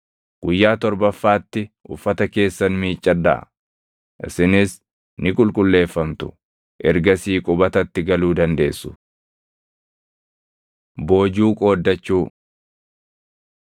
Guyyaa torbaffaatti uffata keessan miiccadhaa; isinis ni qulqulleeffamtu. Ergasii qubatatti galuu dandeessu.” Boojuu Qooddachuu